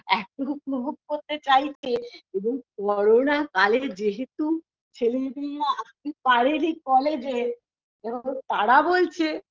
LOUGH এত উপভোগ করতে চাইছে এবং করোনা কালে যেহেতু ছেলেমেয়েরা আসতে পারিনি কলেজে তারা বলছে